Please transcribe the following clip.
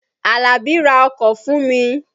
Àlàbí ra ọkọ̀ fùn mi.